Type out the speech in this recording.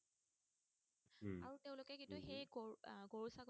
কিন্তু সেই গৰু আহ